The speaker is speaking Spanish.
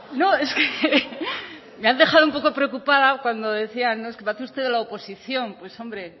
no es que me ha dejado un poco preocupada cuando decía no es que parece usted de la oposición pues hombre